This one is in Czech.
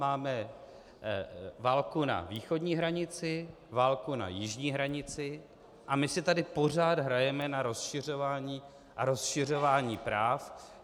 Máme válku na východní hranici, válku na jižní hranici, a my si tady pořád hrajeme na rozšiřování a rozšiřování práv.